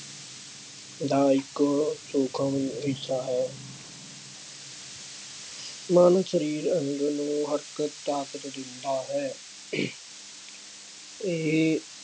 ਦਾ ਇੱਕ ਸੂਖਮ ਹਿੱਸਾ ਹੈ। ਮਨ ਸਰੀਰ ਅੰਗ ਨੂੰ ਹਰ ਇੱਕ ਤਾਕਤ ਦਿੰਦਾ ਹੈ। ਆਹ ਇਹ